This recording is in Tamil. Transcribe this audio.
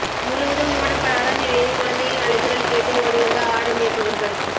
முழுவதும் மூடப்படாத நிலையில் குழந்தையின் அழுகுரல் கேட்டு ஓடிவந்த ஆடு மேய்ப்பவர்கள்